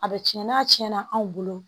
A bɛ tiɲɛ n'a tiɲɛna anw bolo